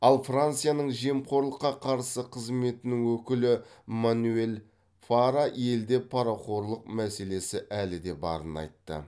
ал францияның жемқорлыққа қарсы қызметінің өкілі манюэль фара елде парақорлық мәселесі әлі де барын айтты